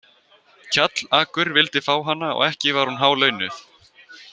Kjallakur vildi fá hana og ekki var hún hálaunuð.